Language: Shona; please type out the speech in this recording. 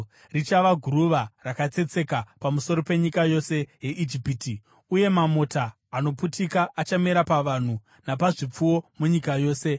Richava guruva rakatsetseka pamusoro penyika yose yeIjipiti, uye mamota anoputika achamera pavanhu napazvipfuwo munyika yose.”